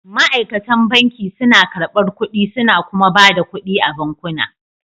Ma'aikatan banki suna karɓar kuɗi suna kuma ba da kuɗi a bankuna